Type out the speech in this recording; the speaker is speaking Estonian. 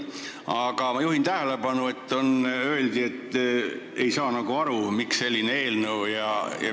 Aga ma juhin tähelepanu, et öeldi, nagu ei saa aru, miks selline eelnõu siin on.